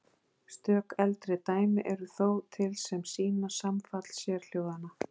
Stök eldri dæmi eru þó til sem sýna samfall sérhljóðanna.